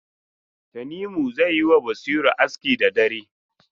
Tanimu zai yi wa Basiru aski da dare.